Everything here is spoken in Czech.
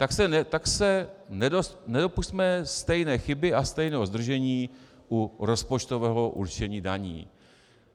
Tak se nedopusťme stejné chyby a stejného zdržení u rozpočtového určení daní.